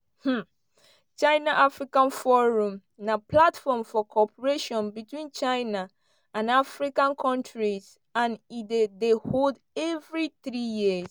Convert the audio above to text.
um china-africa forum na platform for cooperation between china and african kontris and e dey dey hold evri three years.